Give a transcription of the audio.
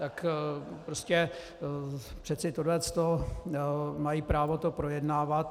Tak prostě přeci tohle mají právo to projednávat.